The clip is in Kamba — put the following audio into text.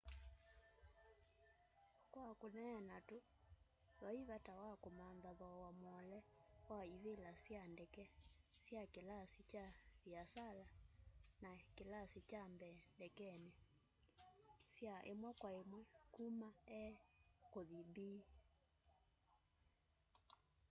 kwa kuneena tu vai vata wa kumantha thoowa muole wa ivila sya ndeke sya kilasi kya viasala na kilasi kya mbee ndekeni sya imwe kwa imwe kuma a kuthi b